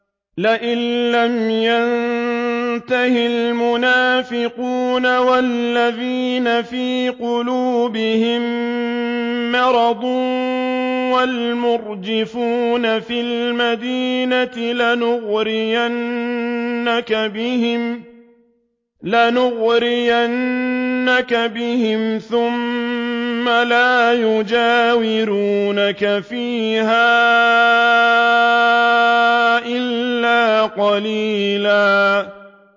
۞ لَّئِن لَّمْ يَنتَهِ الْمُنَافِقُونَ وَالَّذِينَ فِي قُلُوبِهِم مَّرَضٌ وَالْمُرْجِفُونَ فِي الْمَدِينَةِ لَنُغْرِيَنَّكَ بِهِمْ ثُمَّ لَا يُجَاوِرُونَكَ فِيهَا إِلَّا قَلِيلًا